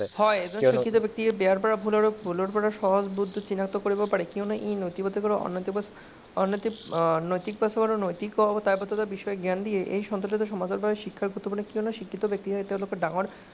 এজন শিক্ষিত ব্যক্তিয়ে বেয়া পৰা ভুল, ভুলৰ পৰা সহজে চিনাক্ত কৰিব পাৰে কিয়নো ই নৈতিক সমাজৰ ওপৰত জ্ঞান দিয়ে